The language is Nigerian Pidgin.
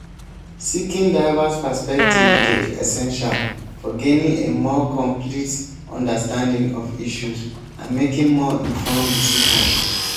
seeking diverse perspectives dey essential for gaining a more complete understanding of issues and making more informed decisions.